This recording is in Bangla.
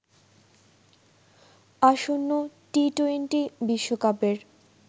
আসন্ন টি টোয়েন্টি বিশ্বকাপের